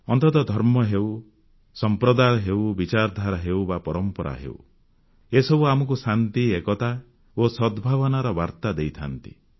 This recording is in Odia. ଅନ୍ତତଃ ଧର୍ମ ହେଉ ସମ୍ପ୍ରଦାୟ ହେଉ ବିଚାରଧାରା ହେଉ ବା ପରମ୍ପରା ହେଉ ଏସବୁ ଆମକୁ ଶାନ୍ତି ଏକତା ଓ ସଦ୍ଭାବନାର ବାର୍ତ୍ତା ଦେଇଥାନ୍ତି